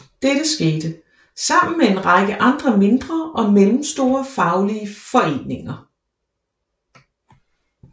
Dette skete sammen med en række andre mindre og mellemstore faglige foreninger